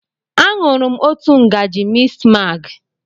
Aṅụrụ m òtù ngaji mistmaagị.